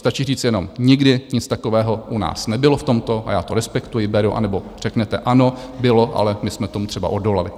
Stačí říct jenom: Nikdy nic takového u nás nebylo v tomto, a já to respektuji, beru, anebo řeknete: Ano, bylo, ale my jsme tomu třeba odolali.